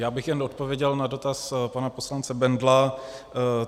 Já bych jen odpověděl na dotaz pana poslance Bendla.